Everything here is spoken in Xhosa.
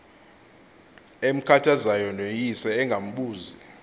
emkhathazayo noyise engambuzi